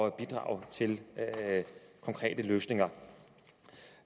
at bidrage til konkrete løsninger